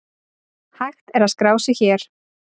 Hægt er að skrá sig hér.